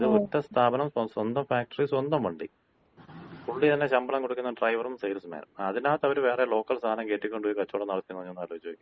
ഇത് ഒറ്റ സ്ഥാപനം, സ്വന്തം ഫാക്ടറി, സ്വന്തം വണ്ടി. പുള്ളി തന്ന ശമ്പളം കൊടുക്കുന്ന ഡ്രൈവറും സെയിൽസ്മാനും. അതിനകത്തവര് വേറെ ലോക്കൽ സാധനം കേറ്റിക്കൊണ്ട് പോയി കച്ചോടം നടത്തീന്ന് പറഞ്ഞാ, ഒന്നാലോചിച്ച് നോക്കിയേ.